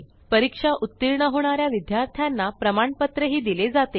परीक्षा उत्तीर्ण होणा या विद्यार्थ्यांना प्रमाणपत्रही दिले जाते